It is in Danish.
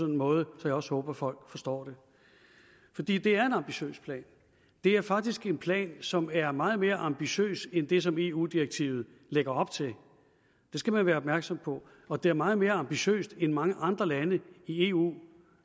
en måde så jeg også håber at folk forstår det det er en ambitiøs plan det er faktisk en plan som er meget mere ambitiøs end det som eu direktivet lægger op til det skal man være opmærksom på og det er meget mere ambitiøst end det mange andre lande i eu